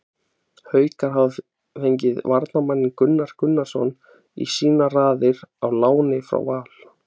Haukar hafa fengið varnarmanninn Gunnar Gunnarsson í sínar raðir á láni frá Val.